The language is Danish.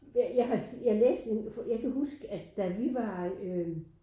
Jeg har jeg læste en jeg kan huske at da vi var øh